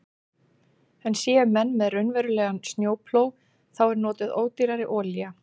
En séu menn með raunverulegan snjóplóg þá er notuð ódýrari olía.